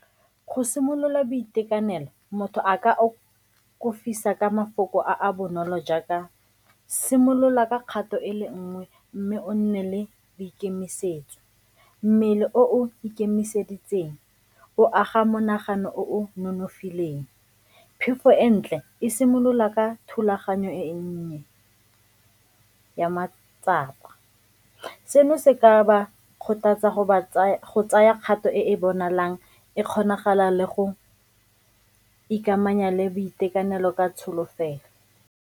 Go simolola boitekanelo, motho a ka ka mafoko a a bonolo jaaka, simolola ka kgato e le nngwe mme o nne le boikemisetso, mmele o o ikemiseditseng o aga monagano o nonofileng, phefo e ntle e simolola ka thulaganyo e nnye ya matsapa. Seno se ka ba kgothatsa go ba tsaya kgato e bonalang e kgonagala le go ikamanya le boitekanelo ka tsholofelo.